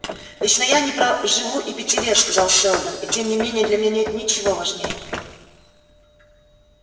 лично я не проживу и пяти лет сказал сэлдон и тем не менее для меня нет ничего важнее